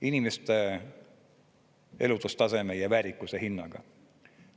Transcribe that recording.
Inimeste elatustaseme ja väärikuse hinnaga.